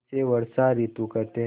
इसे वर्षा ॠतु कहते हैं